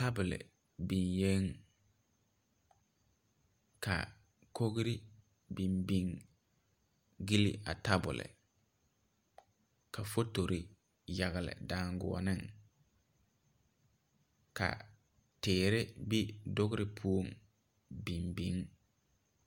Tabol bingee ka kɔgree bin bin gyili a tabol ka fotori yagle danguoni ka teere be dogri pou bin bin.